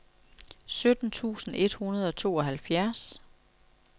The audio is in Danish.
sytten tusind et hundrede og tooghalvfjerds